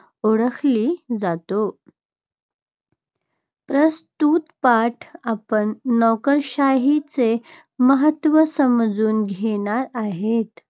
ओळखली जाते. प्रस्तुत पाठात आपण नोकरशाहीचे महत्त्व समजून घेणार आहोत.